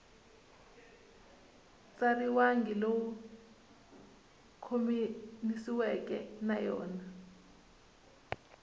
tsariwangi lowu khomanisiweke na yona